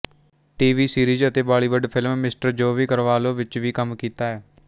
TV series ਅਤੇ Bollywood film mister Joe B Carvalho ਵਿੱਚ ਵੀ ਕੰਮ ਕੀਤਾ ਹੈ